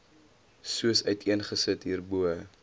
soos uiteengesit hierbo